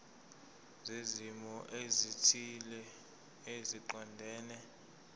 zezimo ezithile eziqondene